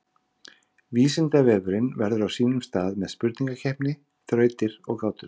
Vísindavefurinn verður á sínum stað með spurningakeppni, þrautir og gátur.